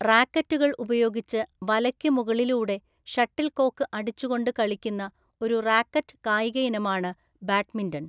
റാക്കറ്റുകൾ ഉപയോഗിച്ച് വലക്ക് മുകളിലൂടെ ഷട്ടിൽ കോക്ക് അടിച്ചുകൊണ്ട് കളിക്കുന്ന ഒരു റാക്കറ്റ് കായിക ഇനമാണ് ബാഡ്മിന്റൺ.